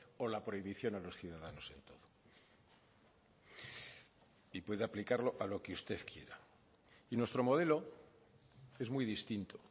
o la prohibición a los ciudadanos en todo y puede aplicarlo a lo que usted quiera y nuestro modelo es muy distinto